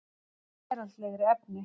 Um veraldlegri efni